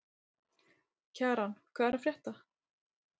Kjaran, hvað er að frétta?